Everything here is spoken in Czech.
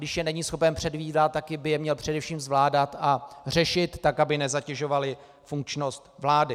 Když je není schopen předvídat, tak by je měl především zvládat a řešit tak, aby nezatěžovaly funkčnost vlády.